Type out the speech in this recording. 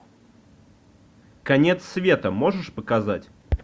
конец света можешь показать